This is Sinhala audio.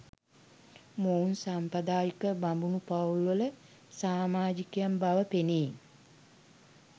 මොවුන් සාම්ප්‍රදායික බමුණු පවුල්වල සාමාජිකයන් බව පෙනේ.